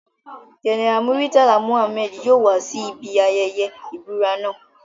General Muritala Mohammed yoo wa si ibi ayẹyẹ ibura naa